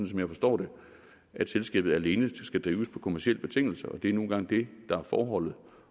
som jeg forstår det at selskabet alene skal drives på kommercielle betingelser og det er nu engang det der er forholdet